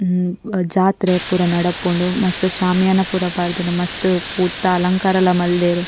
ಜಾತ್ರೆ ಪೂರ ನಡಪುಂಡು ಮಸ್ತ್ ಶ್ಯಾಮಿಯಾನ ಪೂರ ಪಾಡ್ದಿನ ಮಸ್ತ್ ಪೂತ ಅಲಂಕಾರಲ ಮಲ್ದೆರ್.